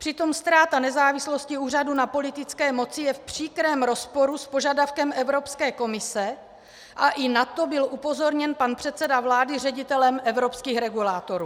Přitom ztráta nezávislosti úřadu na politické moci je v příkrém rozporu s požadavkem Evropské komise a i na to byl upozorněn pan předseda vlády ředitelem evropských regulátorů.